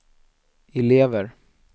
elever